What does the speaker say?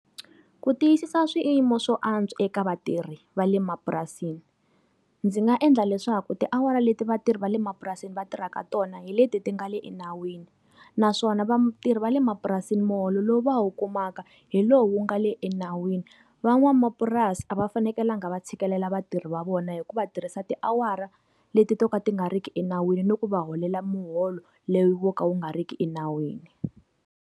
Ku tiyisisa swiyimo swo antswa eka vatirhi va le mapurasini. Ndzi nga endla leswaku tiawara leti vatirhi va le mapurasini va tirhaka tona hi leti ti nga le enawini. Naswona vatirhi va le mapurasini muholo lowu va wu kumaka, hi lowu wu nga le enawini. Van'wamapurasi va fanekelanga va tshikelela vatirhi va vona hi ku va tirhisa tiawara leti to ka ti nga ri ki enawini ni ku va holela muholo, lowu wo ka wu nga ri ki enawini.